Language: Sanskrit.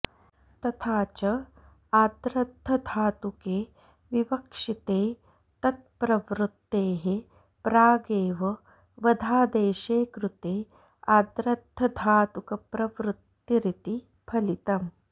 तथा च आद्र्धधातुके विवक्षिते तत्प्रवृत्तेः प्रागेव वधादेशे कृते आद्र्धधातुकप्रवृत्तिरिति फलितम्